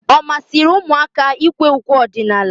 Ọ masịrị ụmụaka ikwe ukwe ọdịnala?